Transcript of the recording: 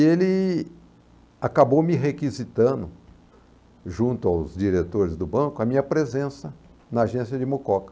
E ele acabou me requisitando, junto aos diretores do banco, a minha presença na agência de Mucoca.